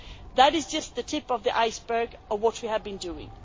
That is just the tip of the iceberg of what we have been doing.